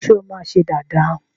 Ṣé o máa ṣe dàda?